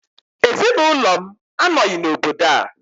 Ezinụlọ m anọghị n'obodo a